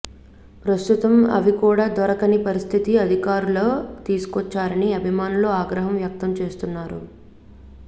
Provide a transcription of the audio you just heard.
ప్రస్తుతం అవి కూడా దొరకని పరిస్థితికి అధికారులు తీసుకొచ్చారని అభిమానులు ఆగ్రహం వ్యక్తం చేస్తున్నారు